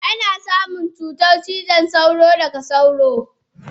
Ana samun cutar cizon sauro daga sauro.